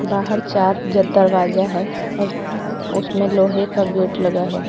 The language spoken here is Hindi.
बाहर चार जो दरवाजा है उसमें लोहे का गेट लगा है।